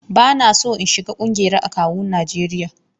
Ba na son in shiga ƙungiyar akawun Najeriya.